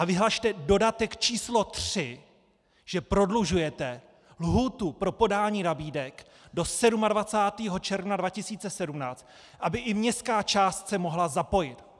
A vyhlaste dodatek číslo 3, že prodlužujete lhůtu pro podání nabídek do 27. června 2017, aby i městská část se mohla zapojit.